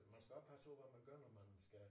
Man skal også passe på hvad man gør når man skal